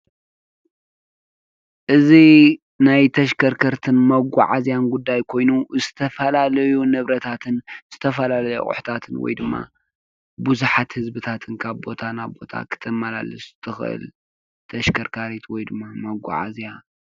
እዚ ናይ ተሽከርከርትን መጓዓዝያን ጉዳይ ኮይኑ ዝተፈላለዩ ንብረታትን ዝተፈላለዩ ኣቅሑታትን ወይ ድማ ብዙሓት ህዝብታት ካብ ቦታ ናብ ቦታ ክተመላልስ እትኽእል ተሽከርካሪት ወይ ድማ መጉዓዝያ።